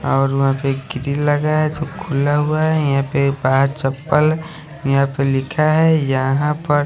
और वहा पे कीचड़ लगा है सब खुला हुआ है यह पे पांच चप्पल है यहाँ पर लिखा है यहाँ पर --